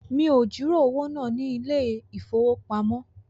Mi ò jìrọ̀ owó náà ní ilé ìfowópamọ́